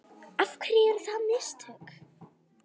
Af hverju eru það mistök?